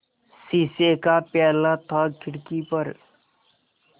शीशे का प्याला था खिड़की पर